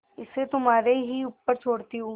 इसे तुम्हारे ही ऊपर छोड़ती हूँ